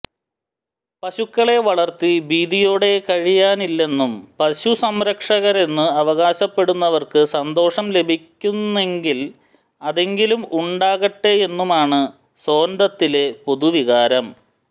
പശുക്കളെ വളർത്തി ഭീതിയോടെ കഴിയാനില്ലെന്നും പശുസംരക്ഷകരെന്നു അവകാശപ്പെടുന്നവർക്കു സന്തോഷം ലഭിക്കുന്നെങ്കിൽ അതെങ്കിലും ഉണ്ടാകട്ടെയെന്നുമാണ് സോൻദത്തിലെ പൊതുവികാരം